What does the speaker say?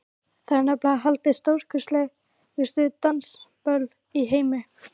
Þar eru nefnilega haldin stórkostlegustu dansiböll í heimi.